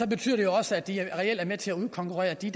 betyder det jo også at de reelt er med til at udkonkurrere de